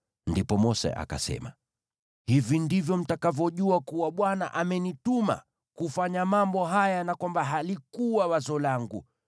Ndipo Mose akasema, “Hivi ndivyo mtakavyojua kuwa Bwana amenituma kufanya mambo haya, na kwamba halikuwa wazo langu.